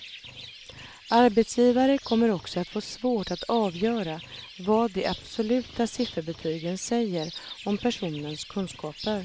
Arbetsgivare kommer också att få svårt att avgöra vad de absoluta sifferbetygen säger om personens kunskaper.